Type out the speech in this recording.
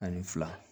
Ani fila